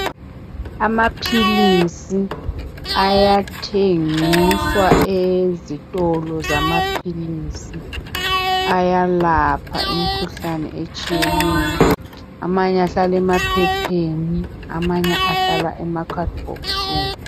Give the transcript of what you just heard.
Amaphilisi ayathengiswa ezitolo zamaphilisi ayalapha imkhuhlane etshiyeneyo. Amanye ahlala emaphepheni amanye ahlala emakhadibhokisini.